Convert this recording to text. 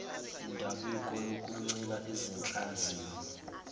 indabuko yokuncika ezinhlanzini